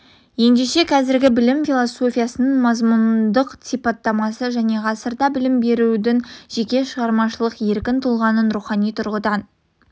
ендеше қазіргі білім философиясының мазмұндық сипаттамасы жаңа ғасырда білім берудің жеке шығармашылық еркін тұлғаның рухани тұрғыдан